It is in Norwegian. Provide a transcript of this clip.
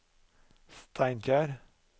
Steinkjer